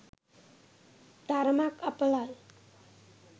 තරමක් අපලයි.